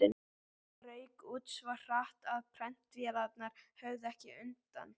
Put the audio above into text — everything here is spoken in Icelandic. Það rauk út svo hratt, að prentvélarnar höfðu ekki undan.